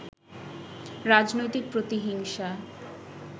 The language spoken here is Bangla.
রাজনৈতিক প্রতিহিংসা